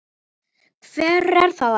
Hver er það aftur?